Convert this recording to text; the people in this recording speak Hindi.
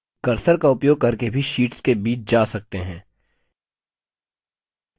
cursor का उपयोग करके भी शीट्स के बीच जा सकते हैं